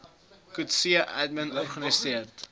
coetzee admin organiseerde